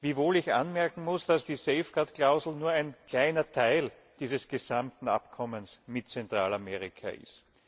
Wiewohl ich anmerken muss, dass die Safeguard Klausel nur ein kleiner Teil dieses gesamten Abkommens mit Zentralamerika ist.